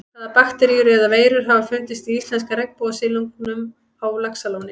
Hvaða bakteríur eða veirur hafa fundist í íslenska regnbogasilungnum á Laxalóni?